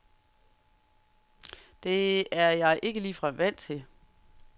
Det er jeg ikke ligefrem vant til.